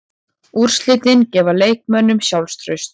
Úrslitin gefa leikmönnunum sjálfstraust.